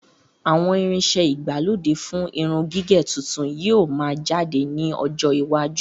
Àwọn irin iṣẹ ìgbàlódé fún irun gígẹ̀ tuntun yìí ó máa jáde ní ọjọ́ iwájú.